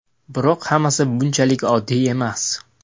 Biroq hammasi bunchalik oddiy emas.